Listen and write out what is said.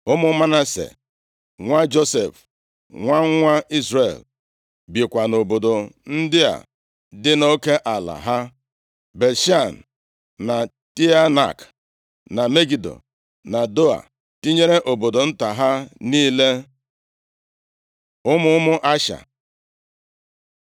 Ụmụ Manase, nwa Josef, nwa nwa Izrel, bikwa nʼobodo ndị a dị nʼoke ala ha: Bet-Shan, na Teanak, na Megido, na Doa, tinyere obodo nta ha niile. Ụmụ ụmụ Asha